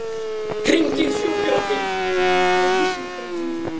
Hringið í sjúkrabíl.